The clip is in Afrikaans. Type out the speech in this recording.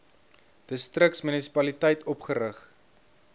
distriks munisipaliteit opgerig